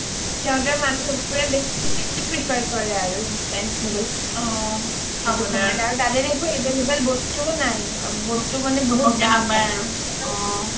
কিন্তু সিহতৰ মানুহবোৰে বেছিকে prefer কৰে আৰু instant noodle অ বস্তুবোৰ তাত available বস্তুও নাই available খাবলে বস্তুও